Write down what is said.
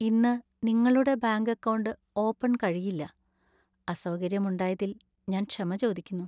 ഇന്ന് നിങ്ങളുടെ bank account open ആക്കാൻ കഴിയില്ല. അസൗകര്യമുണ്ടായതില്‍ ഞാൻ ക്ഷമ ചോദിക്കുന്നു.